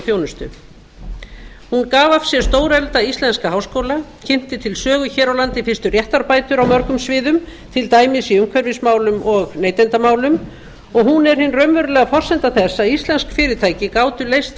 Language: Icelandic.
þjónustu hún gaf af sér stóreflda íslenska háskóla kynnti til sögu hér á landi fyrstu réttarbætur á mörgum sviðum til dæmis í umhverfismálum og neytendamálum og hún er hin raunveruleg forsenda þess að íslensk fyrirtæki gátu leyst